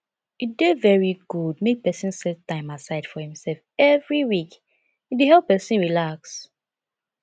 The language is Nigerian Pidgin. e dey very good make pesin set time aside for imself every week e dey help pesin relax